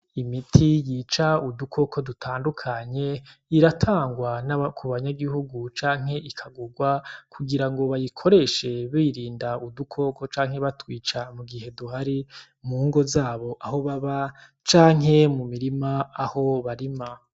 Imiti yica udukoko dutandukanye iratangwa kubanyagihugu canke ikagugwa kugirango bayikoreshe birinda udukoko canke batwica mugihe duhari mungo zabo aho baba canke mu mirima aho barima.